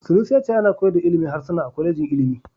Sanusi ya ce ana koyar da ilimin harsuna a kwalejin ilimi.